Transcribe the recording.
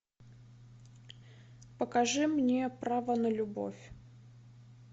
покажи мне право на любовь